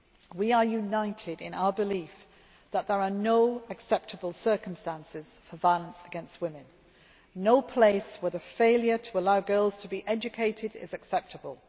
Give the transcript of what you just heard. We are united in our belief that there are no acceptable circumstances for violence against women and no place where the failure to allow girls to be educated is acceptable.